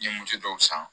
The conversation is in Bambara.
N ye musa dɔw san